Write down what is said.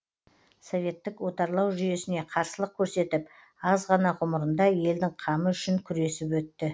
советтік отарлау жүйесіне қарсылық көрсетіп аз ғана ғұмырында елдің қамы үшін күресіп өтті